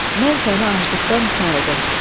Mən səni aclıqdan qurtardım.